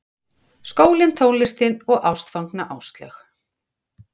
Skólinn, tónlistin og ástfangna Áslaug.